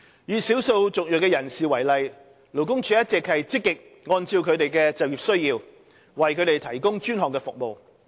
以少數族裔人士為例，勞工處一直積極按照他們的就業需要，為他們提供專項服務。